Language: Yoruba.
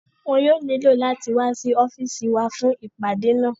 Wọn yóò nílò láti wá sí ọ́fìsì wa fún ìpàdé náà